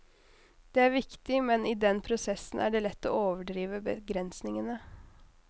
Det er viktig, men i den prosessen er det lett å overdrive begrensningene.